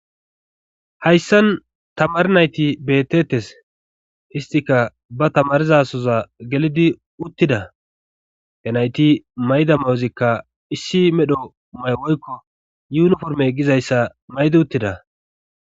Hayssan tamar nayti betettes histika ba tamarizasoza gelidi uttida he nayti mayda mawozikka issi medho may woykko yuniforme gizayssa maydi uttida.